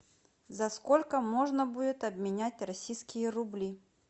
за сколько можно будет обменять российские рубли